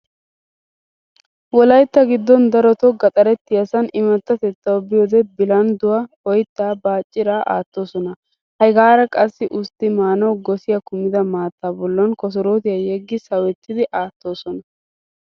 Wolaytta giddon daroto gaxarettiyaasan imattatettawu biyoodee bilandduwaa, oyttaa, baacciraa aattoosona. Hegaara qassi ustti maanawu gosiya kumida maattaa bollan kosorootiya yeggi sawettidi aattoosona.